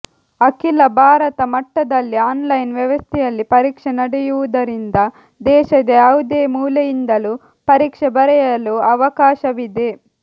ಅಖಿಲ ಭಾರತ ಮಟ್ಟದಲ್ಲಿ ಆನ್ಲೈನ್ ವ್ಯವಸ್ಥೆಯಲ್ಲಿ ಪರೀಕ್ಷೆ ನಡೆಯುವುದರಿಂದ ದೇಶದ ಯಾವುದೇ ಮೂಲೆಯಿಂದಲೂ ಪರೀಕ್ಷೆ ಬರೆಯಲು ಅವಕಾಶವಿದೆ